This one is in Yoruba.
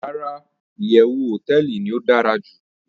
Rara, iyewu hoteeli ni o dara ju